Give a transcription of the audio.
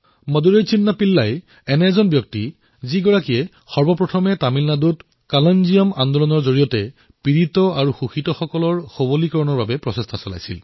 মাদুৰাইৰ চিত্ৰা পিল্লাইয়ে প্ৰথমবাৰলৈ তামিলনাডুত কলঞ্জিয়াম আন্দোলনৰ জৰিয়তে পীড়িত আৰু শোষিতসকলক সৱলীকৰণ কৰাৰ দিশত প্ৰয়াস কৰিছিল